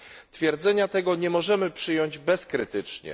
Twierdzenia tego nie możemy przyjąć bezkrytycznie.